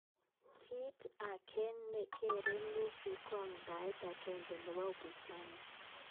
Kiit age ne kere Lissu ko amdaet agenge nebo upinsani